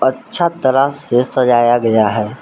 अच्छा तराश से सजाया गया है।